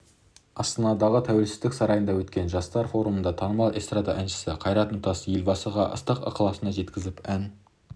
астанадағы тәуелсіздік сарайында өткен жастар форумында танымал эстрада әншісі қайрат нұртас елбасыға іалықтың ыстық-ықыласын жеткізіп ән